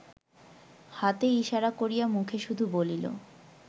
হাতে ইসারা করিয়া মুখে শুধু বলিল